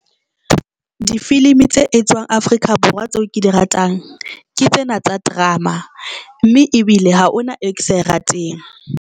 Difilimi tse etswang Afrika Borwa tseo ke di ratang ke tsena tsa drama, mme ebile ha ona e ke sa rateng.